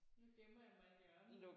Nu gemmer jeg mig i et hjørne